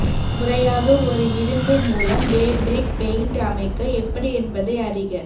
முறையாக ஒரு இரும்பு மூலம் ஃபேப்ரிக் பெயிண்ட் அமைக்க எப்படி என்பதை அறிக